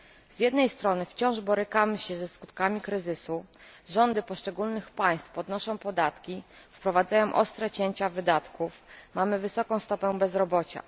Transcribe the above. Z jednej strony wciąż borykamy się ze skutkami kryzysu rządy poszczególnych państw podnoszą podatki, wprowadzają ostre cięcia wydatków, mamy wysoką stopę bezrobocia.